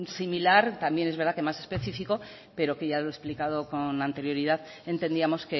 similar también es verdad que más específico pero que ya lo he explicado con anterioridad entendíamos